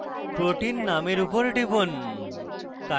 protein নামের উপর টিপুন